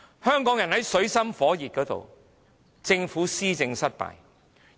香港人在水深火熱之中，政府卻施政失敗。